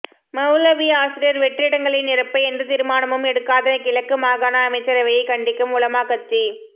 மௌலவி ஆசிரியர் வெற்றிடங்களை நிரப்ப எந்த தீர்மானமும் எடுக்காத கிழக்கு மாகாண அமைச்சரவையைக் கண்டிக்கும் உலமா கட்சி